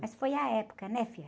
Mas foi a época, né, filha?